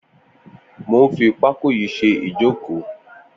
Mó n fi pákó yi ṣé ijókó